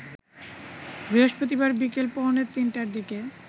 বৃহস্পতিবার বিকেল পৌনে ৩টার দিকে